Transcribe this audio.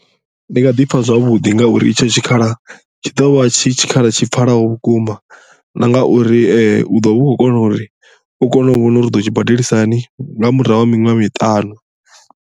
Ndi nga ḓi pfha zwavhuḓi ngauri itsho tshikhala tshi ḓo vha tshi tshikhala tshi pfhalaho vhukuma na nga uri u ḓo vha u khou kona uri u kone u vhona uri u ḓo tshi badelisa hani nga murahu ha miṅwaha miṱanu.